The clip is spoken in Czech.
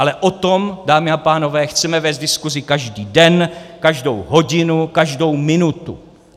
Ale o tom, dámy a pánové, chceme vést diskuzi každý den, každou hodinu, každou minutu.